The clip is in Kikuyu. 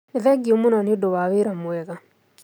Nĩ thengiũmũno nĩundũwa wĩra mwega